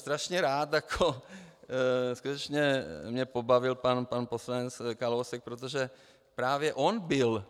Strašně rád bych, skutečně mě pobavil pan poslanec Kalousek, protože právě on byl